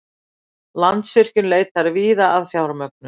Landsvirkjun leitar víða að fjármögnun